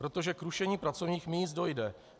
Protože k rušení pracovních míst dojde.